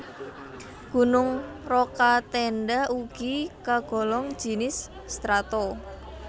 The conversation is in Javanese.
Gunung Rokatenda ugi kagolong jinis strato